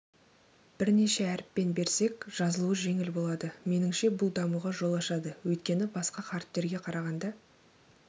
бірнеше әріппен берсек жазылуы жеңіл болады меніңше бұл дамуға жол ашады өйткені басқа қаріптерге қарағанда